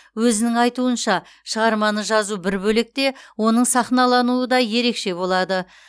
өзінің айтуынша шығарманы жазу бір бөлек те оның сахналануы да ерекше болады